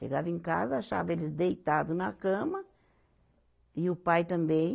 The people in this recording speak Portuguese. Chegava em casa, achava eles deitado na cama, e o pai também,